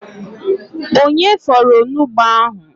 Onye fọrọ onugbụ ahụ?